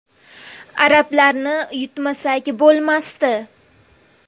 Arablarni yutmasak bo‘lmasdi.